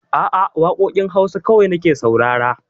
A'a, waƙoƙin Hausa kawai nake saurara